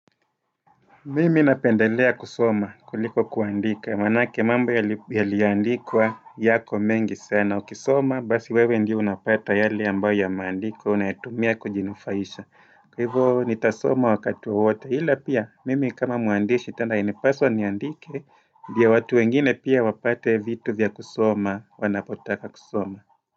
Mimi napendelea kusoma kuliko kuandika, manake mamba yaliandikwa yako mengi sana. Ukisoma, basi wewe ndio unapata yale ambayo ya maandikwa, unayatumia kujinufaisha. Kwa hivo nitasoma wakati wowote, hila pia, mimi kama mwandishi tena inipaso niandike ndio watu wengine pia wapate vitu vya kusoma, wanapotaka kusoma.